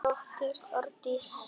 Þín dóttir Þórdís.